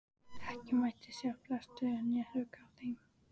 Ekki mátti sjást blettur né hrukka á þeim.